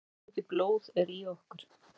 Hversu mikið blóð er í okkur?